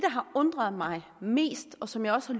har undret mig mest og som jeg også